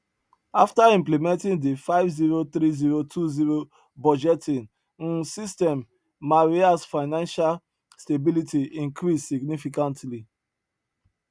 afta implementing di five zero three zero two zero budgeting um system marias financial stability increased significantly